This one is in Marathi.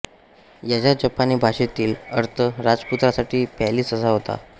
याचा जपानी भाषेतील अर्थ राजपुत्रासाठी पॅलेस असा होतो